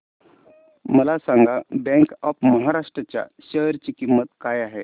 मला सांगा bank of Maharashtra च्या शेअर ची किंमत काय आहे